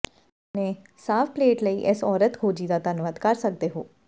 ਤੁਸੀਂ ਆਪਣੇ ਸਾਫ਼ ਪਲੇਟ ਲਈ ਇਸ ਔਰਤ ਖੋਜੀ ਦਾ ਧੰਨਵਾਦ ਕਰ ਸਕਦੇ ਹੋ